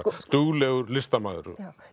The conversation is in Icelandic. duglegur listamaður